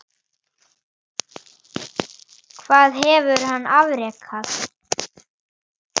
Hvað hefur hann afrekað?